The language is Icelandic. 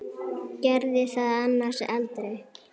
Gerði það annars aldrei.